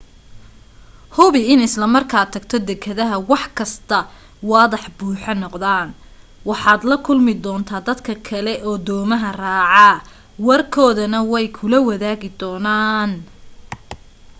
hubi in isla markaad tagto dekedaha wax kasta waadax buu noqonayaa waxaad la kulmi doontaa dadka kale oo doomaha raaca warkoodana way kula wadaagi doonaan